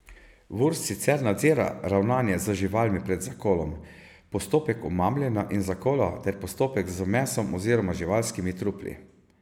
Vurs sicer nadzira ravnanje z živalmi pred zakolom, postopek omamljanja in zakola ter postopek z mesom oziroma živalskimi trupli.